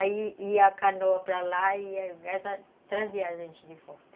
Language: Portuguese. Aí ia a canoa para lá e essa trazia a gente de volta.